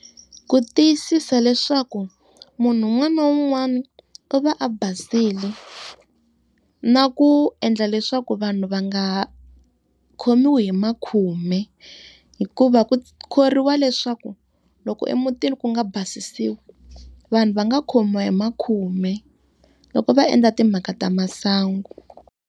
Ku tiyisisa leswaku munhu un'wana na un'wana u va a basile. Na ku endla leswaku vanhu va nga khomiwi hi makhume. Hikuva ku khoriwa leswaku loko emutini ku nga basisiwi, vanhu va nga khomiwa hi makhume loko va endla timhaka ta masangu.